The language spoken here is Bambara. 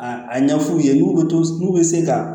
A a ɲɛ f'u ye n'u bɛ to n'u bɛ se ka